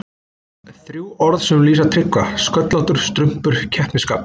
Þrjú orð sem lýsa Tryggva: Sköllóttur, strumpur, keppnisskap.